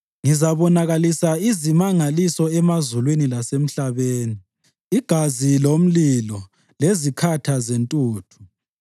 Ngizabonakalisa izimangaliso emazulwini lasemhlabeni, igazi lomlilo lezikhatha zentuthu.